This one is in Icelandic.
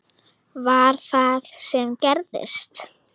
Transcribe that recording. Var það það sem gerðist?